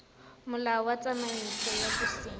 molao wa tsamaiso ya bosenyi